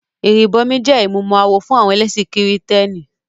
Ìrìbọmi jẹ́ ìmúmọ-awọ fún àwọn ẹlẹ́sìn kìrìtẹ́nì.